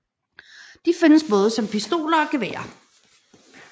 De findes både som pistoler og geværer